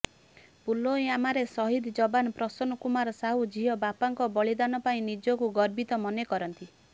ପୁଲୱାମାରେ ସହିଦ ଯବାନ ପ୍ରସନ୍ନ କୁମାର ସାହୁ ଝିଅ ବାପାଙ୍କ ବଳିଦାନ ପାଇଁ ନିଜକୁ ଗର୍ବିତ ମନେ କରନ୍ତି